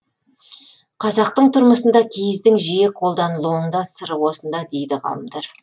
қазақтың тұрмысында киіздің жиі қолданылуының да сыры осында дейді ғалымдар